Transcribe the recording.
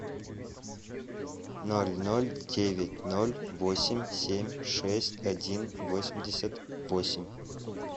ноль ноль девять ноль восемь семь шесть один восемьдесят восемь